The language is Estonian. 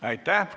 Aitäh!